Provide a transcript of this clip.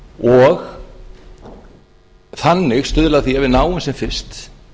og þannig stuðla að því að við náum sem fyrst